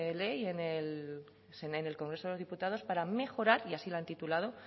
ley en el congreso de los diputados para mejorar y así lo han titulado